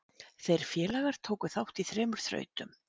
Þeir félagar tóku þátt í þremur þrautum.